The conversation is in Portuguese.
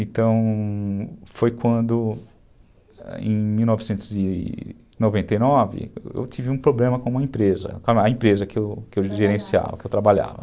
Então... foi quando, em mil novecentos e noventa e nove, eu tive um problema com uma empresa, a empresa que eu gerenciava, que eu trabalhava.